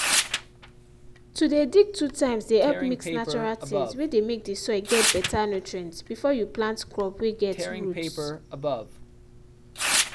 to dey dig two times dey help mix natural things whey dey make the soil get better nutrients before you plant crops whey get roots